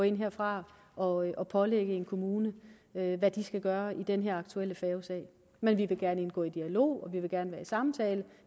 ikke herfra gå ind og pålægge en kommune hvad hvad den skal gøre i den her aktuelle færgesag men vi vil gerne indgå i en dialog og vi vil gerne være i samtale